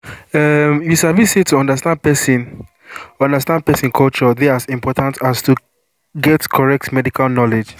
umm you sabi say to understand person understand person culture dey as important as to get correct medical knowledge